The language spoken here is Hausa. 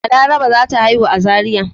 Balaraba za ta haihu a Zariya.